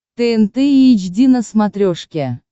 тнт эйч ди на смотрешке